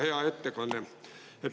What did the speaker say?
Hea ettekandja!